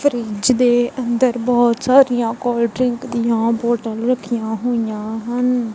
Fridge ਦੇ ਅੰਦਰ ਬਹੁਤ ਸਾਰੀਆਂ ਕੋਲਡਰਿੰਕ ਦੀਆਂ ਬੋਤਲਸ ਰੱਖੀਆਂ ਹੋਈਆਂ ਹਨ।